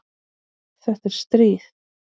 Þetta er stríð!